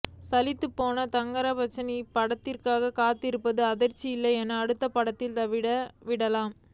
சலித்துப்போன தங்கர்பச்சான் இனி இப்படத்திற்காக காத்திருப்பதில் அர்த்தம் இல்லை என அடுத்த படத்திற்கு தாவி விட்டார்